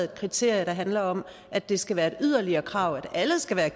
et kriterie der handler om at det skal være et yderligere krav at alle skal være